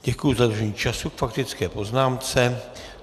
Děkuji za dodržení času k faktické poznámce.